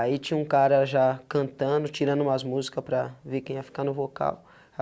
Aí tinha um cara já cantando, tirando umas músicas para ver quem ia ficar no vocal.